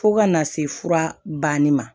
Fo ka na se fura banni ma